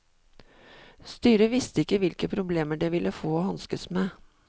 Styret visste ikke hvilke problemer det ville få og hanskes med.